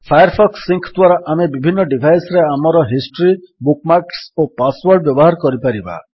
Firefox sync ଦ୍ୱାରା ଆମେ ବିଭିନ୍ନ ଡିଭାଇସ୍ ରେ ଆମର ହିଷ୍ଟ୍ରୀ ବୁକ୍ ମାର୍କ୍ସ ଓ ପାସୱର୍ଡ ବ୍ୟବହାର କରିପାରିବା